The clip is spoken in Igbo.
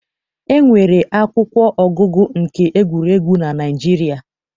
E nwere akwụkwọ ọgụgụ nke egwuregwu na Naịjirịa.